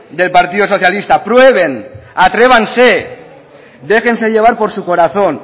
del partido socialista atrévanse déjense llevar por su corazón